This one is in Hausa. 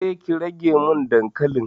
Eh, ki rage min dankalin.